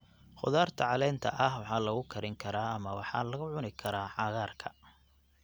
Khudaarta caleenta ah waxaa lagu karin karaa ama waxaa lagu cuni karaa cagaarka.